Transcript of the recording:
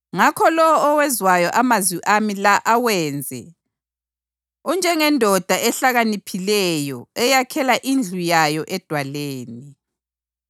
“Ngakho lowo owezwayo amazwi ami la awenze unjengendoda ehlakaniphileyo eyakhela indlu yayo edwaleni.